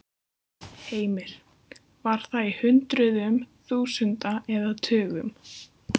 Heimir: Var það í hundruðum þúsunda eða tugum?